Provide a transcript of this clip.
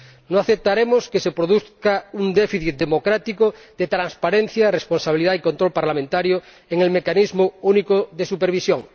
No aceptaremos que se produzca un déficit democrático de transparencia, responsabilidad y control parlamentario en el mecanismo único de supervisión.